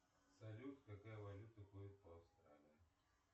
салют какая валюта ходит по австралии